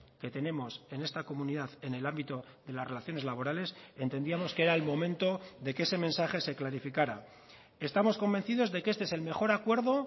que tenemos en esta comunidad en el ámbito de las relaciones laborales entendíamos que era el momento de que ese mensaje se clarificara estamos convencidos de que este es el mejor acuerdo